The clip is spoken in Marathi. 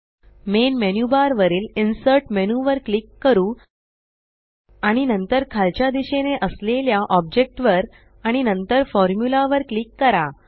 मेन मेन्यू बार वरील इन्सर्ट मेन्यू वर क्लिक करू आणि नंतर खालच्या दिशेने असलेल्या ऑब्जेक्ट वर आणि नंतर फॉर्म्युला वर क्लिक करा